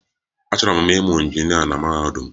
Achọrọ m ịmụ injinịa na mahadum.